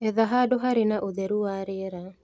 Etha handũ harĩ na ũtheru wa rĩera